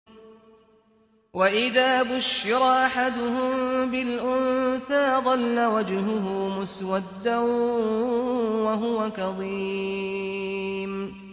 وَإِذَا بُشِّرَ أَحَدُهُم بِالْأُنثَىٰ ظَلَّ وَجْهُهُ مُسْوَدًّا وَهُوَ كَظِيمٌ